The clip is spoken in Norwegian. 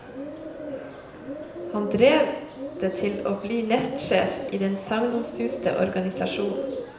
Han drev det til å bli nestsjef i den sagnomsuste organisasjonen.